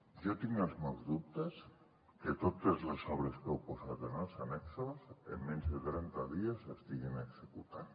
jo tinc els meus dubtes que totes les obres que heu posat en els annexos en menys de trenta dies s’estiguin executant